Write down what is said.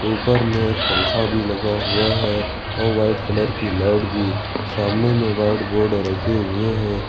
ऊपर में एक पंखा भी लगा हुआ है और वाइट कलर की लाइट भी सामने में व्हाइट बोर्ड रखे हुए हैं।